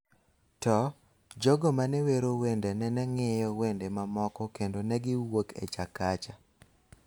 to, jogo ma ne wero wende nene ng�iyo wende mamoko kendo ne giwuok e Chakacha,